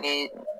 Ni